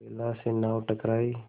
बेला से नाव टकराई